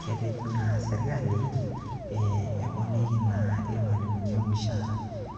Ketejo naa sirkali eponiki naa irmualimuni ormushaara.